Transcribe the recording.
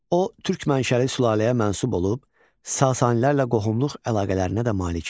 O türk mənşəli sülaləyə mənsub olub Sasanilərlə qohumluq əlaqələrinə də malik idi.